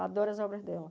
Adoro as obras dela.